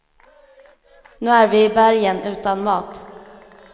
Nu är vi i bergen utan mat.